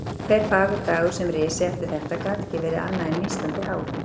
Hver fagur dagur sem risi eftir þetta gat ekki verið annað en nístandi háðung.